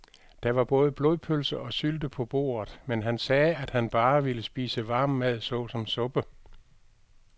Der var både blodpølse og sylte på bordet, men han sagde, at han bare ville spise varm mad såsom suppe.